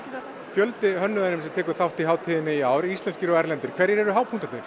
fjöldi hönnuða sem tekur þátt í í ár íslenskir sem erlendir hverjir eru